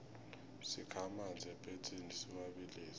sikha amanzi epetsini siwabilise